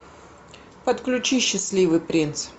подключи счастливый принц